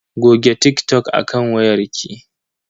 Goge TikTok a kan wayar ki.